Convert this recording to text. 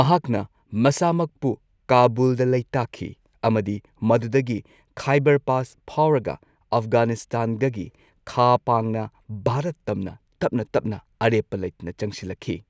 ꯃꯍꯥꯛꯅ ꯃꯁꯥꯃꯛꯄꯨ ꯀꯥꯕꯨꯜꯗ ꯂꯩꯇꯥꯈꯤ ꯑꯃꯗꯤ ꯃꯗꯨꯗꯒꯤ ꯈꯥꯏꯕꯔ ꯄꯥꯁ ꯐꯥꯎꯔꯒ ꯑꯐꯒꯥꯅꯤꯁꯇꯥꯟꯗꯒꯤ ꯈꯥ ꯄꯥꯡꯅ ꯚꯥꯔꯠ ꯇꯝꯅ ꯇꯞꯅ ꯇꯞꯅ ꯑꯔꯦꯞꯄ ꯂꯩꯇꯅ ꯆꯪꯁꯤꯜꯂꯛꯈꯤ꯫